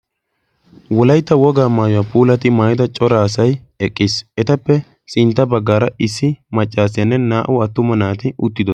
wolaitta wogaa maayuwaa puulati maayida coraasai eqqiis etappe sintta baggaara issi maccaasiyaanne naa77u attuma naati uttido